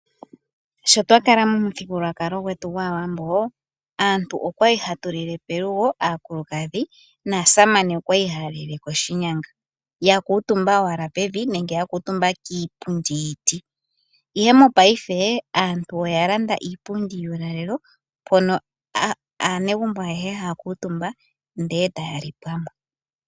Sho twa kala momuthigulukalo gwetu gwAawambo aantu okwa li hatu lile pelugo aakulukadhi ,naasamane okwali haya lile koshinyanga ya kuutumba owala pevumi benge ya kuutumba kiipundi yiiti ihe mopaife aantu oya landa iipundi yuukalelo mpono anegumbo ayehe haya kuutumba etaya li pamwe .